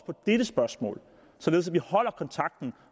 på dette spørgsmål således at vi holder kontakten